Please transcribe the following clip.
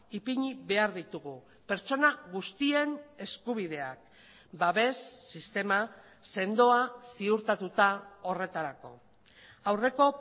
ipini behar ditugu pertsona guztien eskubideak babes sistema sendoa ziurtatuta horretarako aurreko